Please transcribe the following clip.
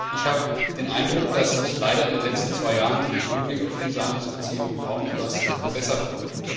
Ich habe den Eindruck, dass sich leider in den letzten zwei Jahren im Hinblick auf diese Handelsbeziehungen kaum etwas verbessert hat.